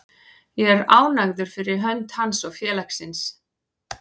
Ég er ánægður fyrir hönd hans og félagsins.